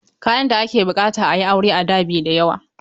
Kayan da ake buƙata a yi aure a da bai da yawa.